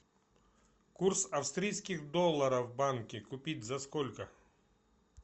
курс австрийских долларов в банке купить за сколько